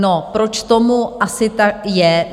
No, proč tomu asi tak je?